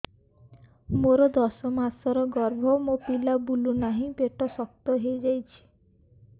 ମୋର ଦଶ ମାସର ଗର୍ଭ ମୋ ପିଲା ବୁଲୁ ନାହିଁ ପେଟ ଶକ୍ତ ହେଇଯାଉଛି